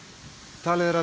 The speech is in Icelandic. talið er að